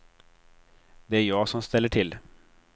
Det är jag som ställer till.